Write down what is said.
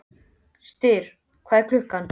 Styrr, hvað er klukkan?